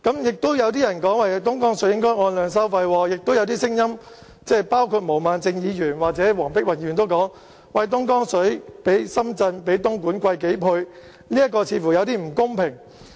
亦有人說東江水應該按量收費，亦有聲音包括毛孟靜議員和黃碧雲議員也指出，東江水的價錢較深圳和東莞昂貴數倍，似乎有點不公平。